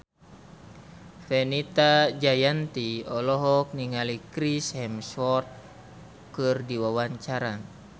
Fenita Jayanti olohok ningali Chris Hemsworth keur diwawancara